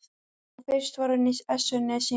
Nú fyrst var hún í essinu sínu.